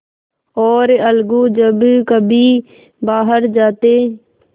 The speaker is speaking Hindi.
और अलगू जब कभी बाहर जाते